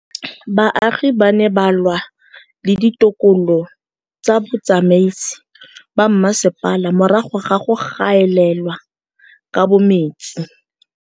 Baagi ba ne ba lwa le ditokolo tsa botsamaisi ba mmasepala morago ga go gaolelwa kabo metsi